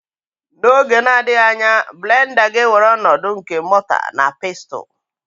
N'oge na-adịghị anya blenda ga-ewere ọnọdụ nke mota na pestul.